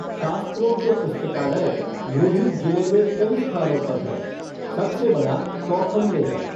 शास्त्रों के पुस्तकालय लोहित जिले में कई स्थानों पर हैं, सबसे बड़ा चौखम में है।